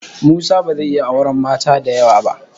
Musa ba zai iya auren mata da yawa ba.